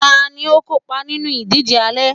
tani o kópa nínú ìdíje àlọ